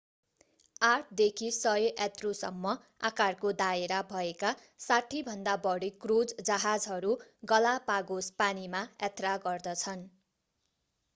8 देखि 100 यात्रुसम्म आकारको दायरा भएका 60भन्दा बढी क्रूज जहाजहरू गलापागोस पानीमा यात्रा गर्दछन्